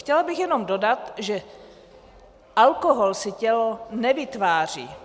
Chtěla bych jenom dodat, že alkohol si tělo nevytváří.